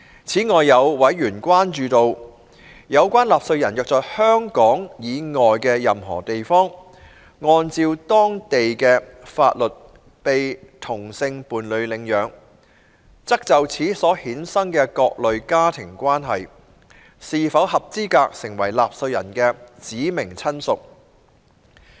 此外，有委員關注到，有關納稅人若在香港以外的任何地方，按照當地的法律被同性伴侶領養，則就此所衍生的各類家庭關係，是否合資格成為納稅人的"指明親屬"。